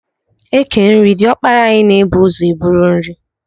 E kee nri, diọkpara anyị na-ebu ụzọ e buru nri.